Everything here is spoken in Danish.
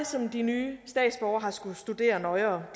som de nye statsborgere har skullet studere nøjere